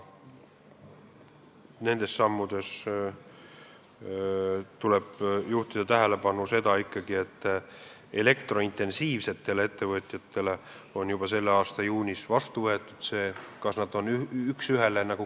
Nende sammude puhul tuleb juhtida tähelepanu, et intensiivse elektritarbimisega ettevõtete huvides on need astutud juba selle aasta juunis.